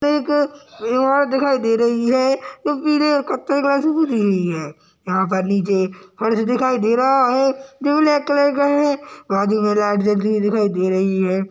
एक इमारत दिखाई दे रही है जोकि है यहाँ पे नीचे फर्स दिखाई दे रहा है जो ब्लैक कलर का है आगे में लाइट जलती हुई दिखाई दे रही है।